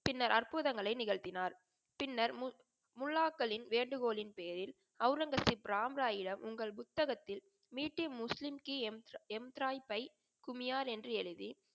பின்னர் அற்புதங்களை நிகழ்த்தினார். பின்னர் முல் முல்லாகளின் வேண்டுகோளின் பெயரில் அவுரங்கசீப் ராம் ராயிடம் உங்கள் புஸ்தகத்தில் என்று எழுதி